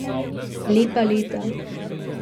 Lepa leta.